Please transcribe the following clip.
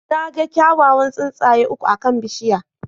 Na ga kyawawan tsuntsaye uku akan bishiyar.